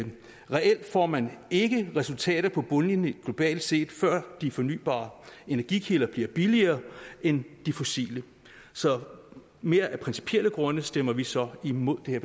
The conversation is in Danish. reelt får man ikke resultater på bundlinjen globalt set før de fornybare energikilder bliver billigere end de fossile så mere af principielle grunde stemmer vi så imod det